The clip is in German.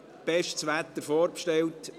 bestes Wetter wurde vorbestellt.